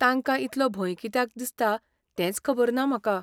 तांका इतलो भंय कित्याक दिसता तेंच खबर ना म्हाका.